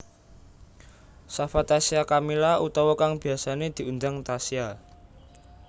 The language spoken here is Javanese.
Shafa Tasya Kamila utawa kang biyasané diundang Tasya